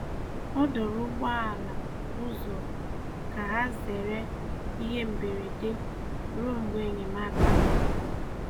Ọ dòrò̀ ụgbọ̀ala ụzọ ka hà zerè ihe mberede ruo mgbe enyemáka bịara.